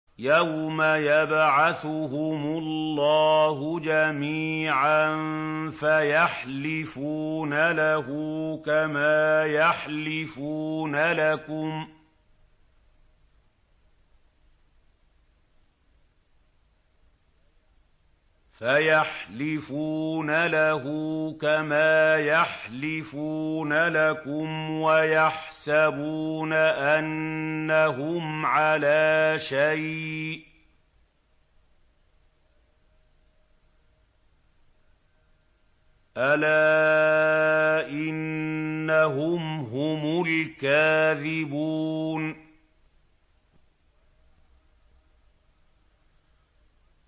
يَوْمَ يَبْعَثُهُمُ اللَّهُ جَمِيعًا فَيَحْلِفُونَ لَهُ كَمَا يَحْلِفُونَ لَكُمْ ۖ وَيَحْسَبُونَ أَنَّهُمْ عَلَىٰ شَيْءٍ ۚ أَلَا إِنَّهُمْ هُمُ الْكَاذِبُونَ